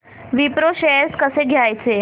Wipro shares कसे घ्यायचे